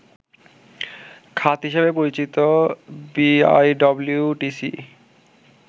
খাত হিসেবে পরিচিত বিআইডব্লিউটিসি